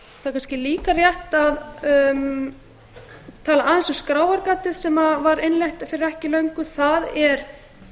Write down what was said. kannski líka rétt að tala aðeins um skráargatið sem var innleitt fyrir ekki löngu það er